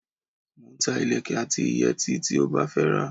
Mo ń ta ìlékè àti ìyètí tí ó bá fẹ́ rà.